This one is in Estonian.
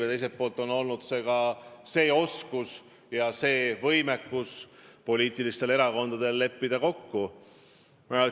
Aga teiselt poolt on erakondadel alati vaja olnud võimekust ja oskust leppida kokku.